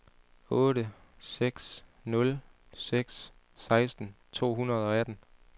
otte seks nul seks seksten to hundrede og atten